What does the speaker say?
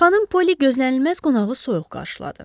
Xanım Poli gözlənilməz qonağı soyuq qarşıladı.